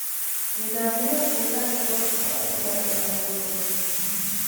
Nidaamyada deegaanka dhulka waa in laga ilaaliyo burburka.